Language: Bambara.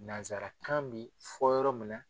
Nansarakan bɛ fɔ yɔrɔ min na.